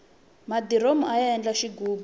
madiromu aya endla xighubu